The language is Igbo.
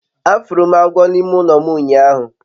afuru m agwo n'ime ulo m unyahu